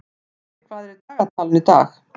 Tonni, hvað er í dagatalinu í dag?